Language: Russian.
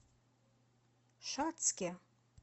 шацке